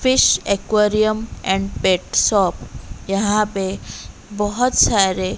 fish aquarium and pet shop यहां पे बहोत सारे--